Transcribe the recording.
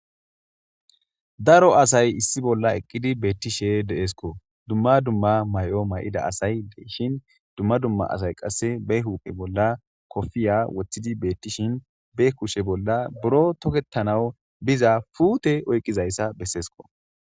Daro asay issi bolla eqidi beetishe de'esko duma duma mayo may'ida asay de'esko duma duma asay qaseko be huphe bolla kopiya wothidi beyishin be kushe bolla buro toketanaw biza puute oykizaysa besesko.